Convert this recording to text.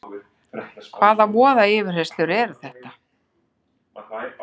Hvaða voða yfirheyrslur eru þetta!